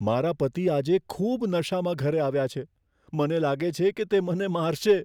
મારા પતિ આજે ખૂબ નશામાં ઘરે આવ્યા છે. મને લાગે છે કે તે મને મારશે.